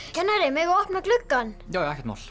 kennari megum við opna gluggann já ekkert mál